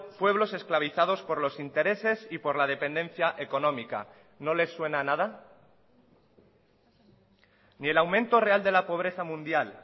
pueblos esclavizados por los intereses y por la dependencia económica no les suena nada ni el aumento real de la pobreza mundial